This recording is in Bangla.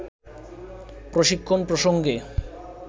প্রশিক্ষণ প্রসঙ্গে